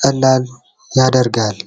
ቀላል ያደርጋል።